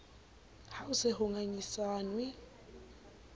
ha ho se ho ngangisanwe